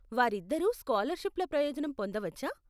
వారిద్దరూ స్కాలర్షిప్ల ప్రయోజనం పొందవచ్చా?